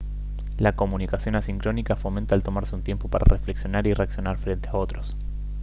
la comunicación asincrónica fomenta el tomarse un tiempo para reflexionar y reaccionar frente a otros